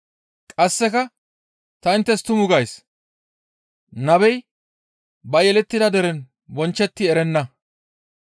Qasseka, «Ta inttes tuma gays; nabey ba yelettida deren bonchchetti erenna.